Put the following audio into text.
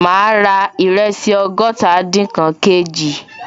Ma ra ìrẹsì ọgọ́tadinkan kg